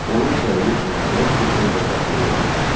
Onun səyi nəhayət ki, öz bəhrəsini verdi.